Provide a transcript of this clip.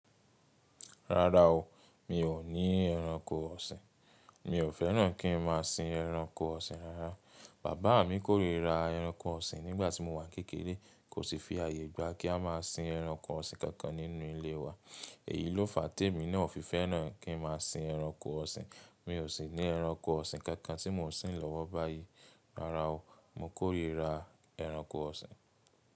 Rárá o, mi ò ní ẹranko ọ̀sìn. Mi ò fẹ́ràn kín má a sin ẹranko ọ̀sìn rárá. Bàbá mi kórìíra ẹranko ọ̀sìn nígbà tí mo wà kékèké, kò sì fi ààyè gba kí a má a sin ẹranko ọ̀sìn kankan nínú ilé wa. Èyí ló fà á tèmi náà ò fi fẹ́ràn kín má a sin ẹranko ọ̀sìn. Mi ò sì ní ẹranko ọ̀sìn kankan tí mò ń sin lọ́wọ́ báyìí rárá o. Mo kórìíra ẹranko ọ̀sìn.